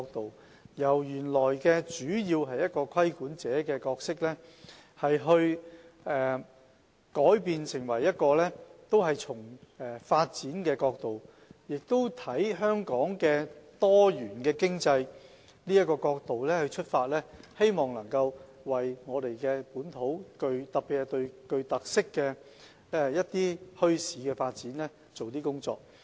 當局本來主要從規管者的角度出發，已經改為從發展角度及從香港多元經濟的角度出發，希望能夠為本土發展，特別是具特色墟市的發展做一些工作。